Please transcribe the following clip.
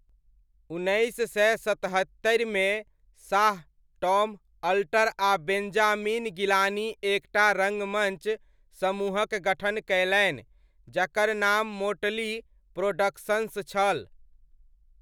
उन्नैस सय सतहत्तरिमे, शाह, टॉम अल्टर आ बेन्जामिन गिलानी एक टा रङ्गमञ्च समूहक गठन कयलनि जकर नाम मोटली प्रोडक्शन्स छल।